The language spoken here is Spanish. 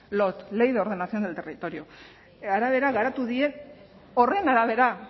lot ley de ordenación del territorio arabera garatu dira horren arabera